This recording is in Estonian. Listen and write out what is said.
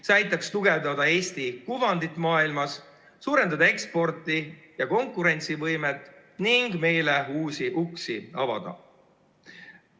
See aitaks tugevdada Eesti kuvandit maailmas, suurendada eksporti ja konkurentsivõimet ning meile uusi uksi avada.